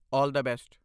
All the best!